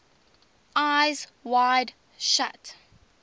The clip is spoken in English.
eyes wide shut